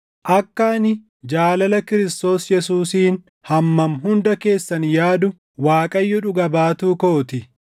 Akka ani jaalala Kiristoos Yesuusiin hammam hunda keessan yaadu Waaqayyo dhuga baatu koo ti.